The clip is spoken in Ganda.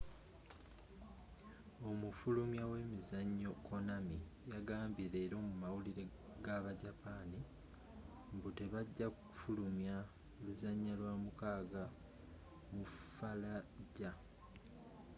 omufulumya we mizzanyo konami yagambye leero mu mawulire ga ba japan mbu te bagya fulumya luzanya lwa mukaga mu fallujah